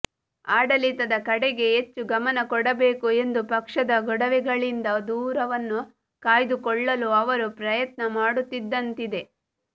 ಆಡಳಿತದ ಕಡೆಗೆ ಹೆಚ್ಚು ಗಮನ ಕೊಡಬೇಕು ಎಂದು ಪಕ್ಷದ ಗೊಡವೆಗಳಿಂದ ದೂರವನ್ನು ಕಾಯ್ದುಕೊಳ್ಳಲೂ ಅವರು ಪ್ರಯತ್ನ ಮಾಡುತ್ತಿದ್ದಂತಿದೆ